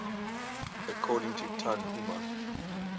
according to tanhuma